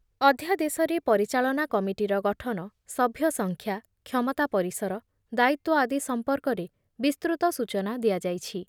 ଅଧ୍ୟାଦେଶରେ ପରିଚାଳନା କମିଟିର ଗଠନ, ସଭ୍ୟ ସଂଖ୍ୟା, କ୍ଷମତା ପରିସର, ଦାୟିତ୍ଵ ଆଦି ସମ୍ପର୍କରେ ବିସ୍ତୃତ ସୂଚନା ଦିଆଯାଇଛି।